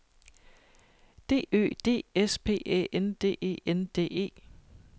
D Ø D S P Æ N D E N D E